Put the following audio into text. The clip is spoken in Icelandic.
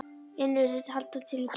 inn virðist halda til í kjallaranum.